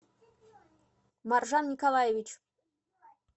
маржан николаевич